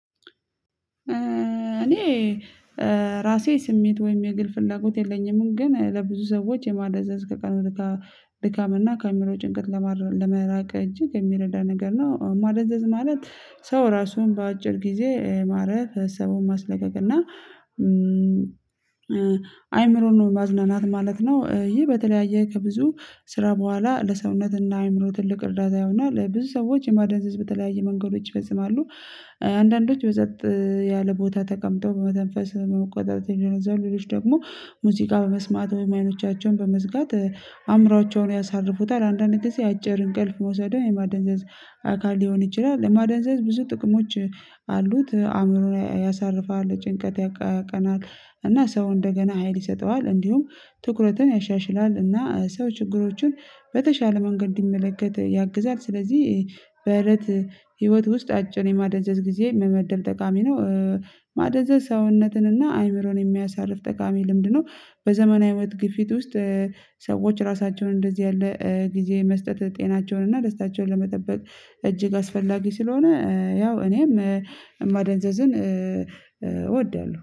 እኔ ራሴ ስሜት ወይም የግል ፍላጎት የለኝም። ግን ለብዙ ሰዎች የማደዘዝ ከቀኑት ድካም እና ካሜራው ጭንቀት ለመራቅ እጅግ የሚረዳ ነገር ነው። ማደዘዝ ማለት ሰው ራሱን በአጭር ጊዜ ማረፍ ሰው ማስለቀቅ እና አእምሮን ነው ማዝነናት ማለት ነው። ይህ በተለያየ ከብዙ ስራ በኋላ ለሰውነትና አእምሮ ትልቅ እርዳታ ይሆናል። ብዙ ሰዎች የማደንዘዝ በተለያየ መንገዶች ይበዝማሉ። አንዳንዶች በጸት ቦታ ተቀምጠው በመተንፈስ በመቆጣጠር የሆነ ዘይሮች ደግሞ ሙዚቃ በመስማት አይኖቻቸውን በመዝጋት አእምሮአቸውን ያሳርፉታል። አንዳንዴ ጊዜ አጭር እንቅልፍ መውሰድ የማደንዘዝ አካል ሊሆን ይችላል። ለማደንዘዝ ብዙ ጥቅሞች አሉት አእምሮ ላይ ያሳርፋል ጭንቀት ያቃቀናል። እና ሰው እንደገና ሀይል ይሰጠዋል እንዲሁም ትኩረትን ያሻሽላል። እና ሰው ችግሮችን በተሻለ መንገድ እንዲመለከት ያግዛል። ስለዚህ በህይወት ህይወት ውስጥ አጭር የማደዘዝ ጊዜ የምመደብ ጠቃሚ ነው። ማደዘ ሰውነትን እና አይምሮን የሚያሳርፍ ጠቃሚ ልምድ ነው። በዘመናዊ ወጥ ግፊት ውስጥ ሰዎች ራሳቸውን እንደዚህ ያለ ጊዜ መስጠት ጤናቸውን እና ደስታቸውን ለመጠበቅ እጅግ አስፈላጊ ስለሆነ። ያው እኔም ማደንዘዝን እወዳለሁ